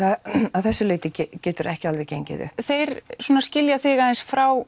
að þessu leiti getur það ekki alveg gengið upp þeir skilja þig aðeins frá